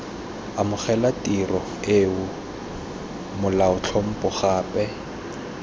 amogela tirelo eo molaotlhomo gape